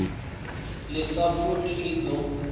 ḽi sa funi ḽi ḓo